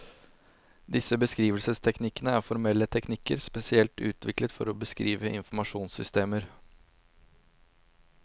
Disse beskrivelsesteknikkene er formelle teknikker, spesielt utviklet for å beskrive informasjonssystemer.